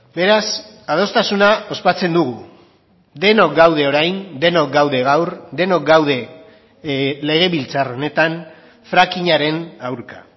beraz adostasuna ospatzen dugu denok gaude orain denok gaude gaur denok gaude legebiltzar honetan frackingaren aurka